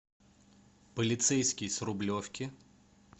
полицейский с рублевки